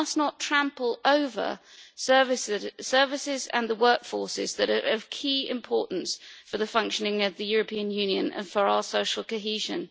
We must not trample over the services and workforces that are of key importance for the functioning of the European Union and for our social cohesion.